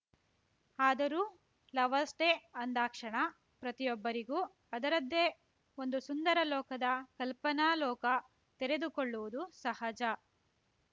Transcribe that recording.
ಆದರೂ lovers day ಅಂದಾಕ್ಷಣ ಪ್ರತಿಯೊಬ್ಬರಿಗೂ ಅದರದ್ದೇ ಒಂದು ಸುಂದರ ಲೋಕದ ಕಲ್ಪನಾ ಲೋಕ ತೆರೆದುಕೊಳ್ಳುವುದು ಸಹಜ